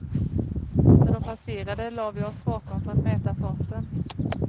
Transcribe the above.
När de passerade lade vi oss bakom för att mäta farten.